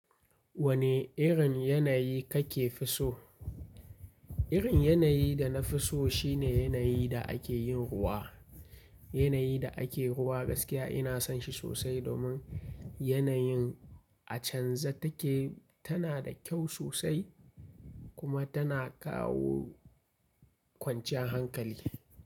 Wane irin yanayi kake so? Irin yanayin da na fi so shine yanayin da ake yin ruwa. Yanayin da ake ruwa gaskiya ina son shi sosai domin yanayin a canza take tana da kyau sosai kuma tana kawo kwanciyar hankali.